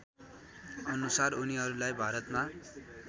अनुसार उनीहरूलाई भारतमा